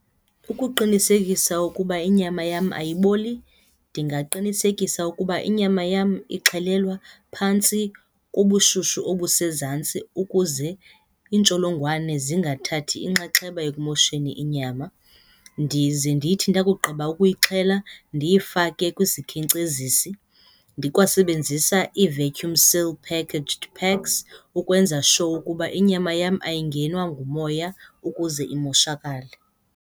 Ukuqinisekisa ukuba inyama yam ayiboli ndingaqinisekisa ukuba inyama yam ixhelelwa phantsi kobushushu obusezantsi ukuze iintsholongwane zingathathi inxaxheba ekumosheni inyama, ndize ndithi ndakugqiba ukuyixhela ndiyifake kwisikhenkcezisi ndikwasebenzisa ii-vacuum sealed packaged packs ukwenza sure ukuba inyama yam ayangenwa ngumoya ukuze imoshakale.